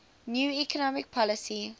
new economic policy